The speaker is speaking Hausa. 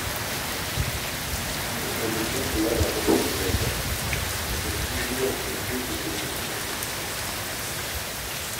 Mutane sun hallara a ƙofar gidansa, daga cikin gidan kuwa sai koke-koke kake jiyowa.